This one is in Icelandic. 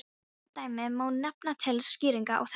Nokkur dæmi má nefna til skýringar á þessu.